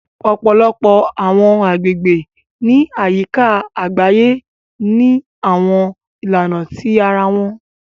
Ọ̀pọ̀lọpọ̀ àwọn àgbègbè ní àyíká àgbáyé ní àwọn ìlànà tí ara wọn